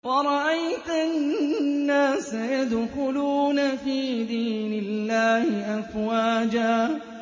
وَرَأَيْتَ النَّاسَ يَدْخُلُونَ فِي دِينِ اللَّهِ أَفْوَاجًا